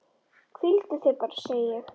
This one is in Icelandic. Hvíldu þig bara, segi ég.